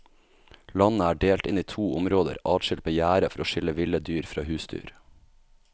Landet er delt inn i to områder adskilt med gjerde for å skille ville dyr fra husdyr.